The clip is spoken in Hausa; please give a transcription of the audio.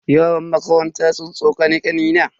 Yaran makaranta sun tsokani kanina.